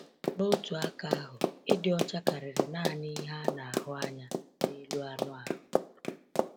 N’otu aka ahụ, ịdị ọcha karịrị naanị ihe a na-ahụ anya n’elu anụ ahụ.